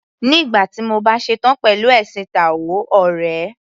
Nígbà tí mo bá ṣetán pẹ̀lú ẹ̀sìn táò ọ̀rẹ́.